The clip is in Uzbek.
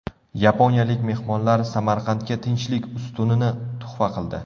Yaponiyalik mehmonlar Samarqandga Tinchlik ustunini tuhfa qildi.